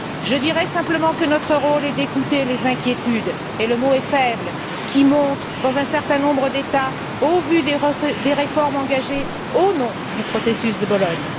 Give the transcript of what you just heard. Je dirai simplement que notre rôle est d'écouter les inquiétudes et le mot est faible qui montent dans un certain nombre d'États au vu des réformes engagées au nom du processus de Bologne.